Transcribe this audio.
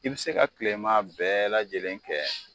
I bi se ka tilema bɛɛ lajɛlen kɛ